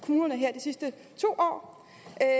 sidste to år